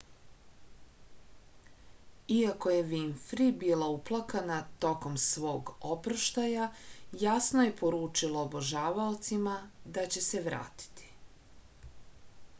iako je vinfri bila uplakana tokom svog oproštaja jasno je poručila obožavaocima da će se vratiti